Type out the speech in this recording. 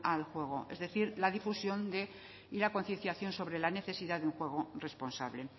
al juego es decir la difusión y la concienciación sobre la necesidad de un juego responsable